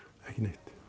ekki neitt